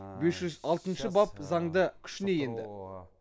бес жүз алтыншы бап заңды күшіне енді